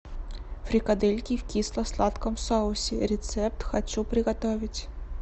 фрикадельки в кисло сладком соусе рецепт хочу приготовить